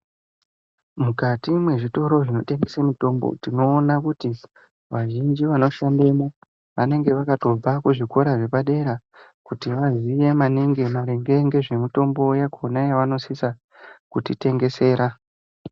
Mukati mwezvitoro zvinotengesa mitombo tinoona kuti vazhinji vanoshandemwo vanenge vakatobva kuzvikora zvepadera kuti vaziye maningi maringe ngezvemitombo yakhona yavanosisa kutitengesera.